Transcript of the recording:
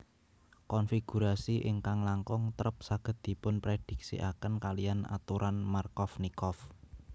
Konfigurasi ingkang langkung trep saged dipunprediksiaken kaliyan aturan Markovnikov